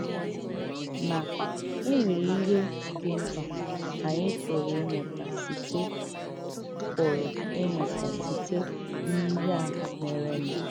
Mà, e nwèrè íhè dị̀ m̀kpà ànyị pụrụ ìmụ̀tà sịté pụrụ ìmụ̀tà sịté n’íhè à mèrènụ̀.